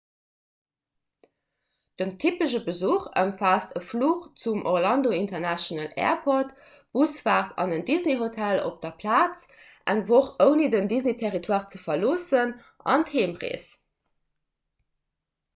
den typesche besuch ëmfaasst e fluch zum orlando international airport d'busfaart an en disney-hotel op der plaz eng woch ouni den disney-territoire ze verloossen an d'heemrees